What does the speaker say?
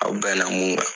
Aw bɛnna mun kan